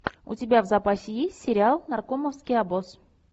у тебя в запасе есть сериал наркомовский обоз